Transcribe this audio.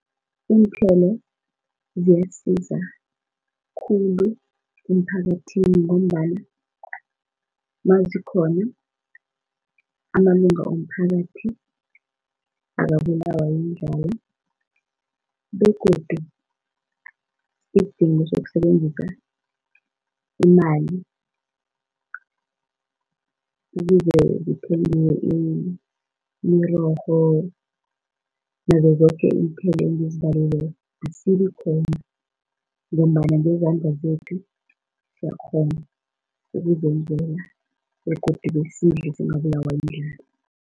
Iinthelo ziyasiza khulu emphakathini ngombana nazikhona amalunga womphakathi akabulawa yindlala begodu isidingo sokusebenzisa imali ukuze kuthengwe imirorho nazo zoke iithelo engizibalileko asibikhona ngombana ngezandla zethu siyakghona ukuzenzela begodu besidle singabulawa yindlala.